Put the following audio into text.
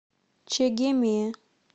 чегеме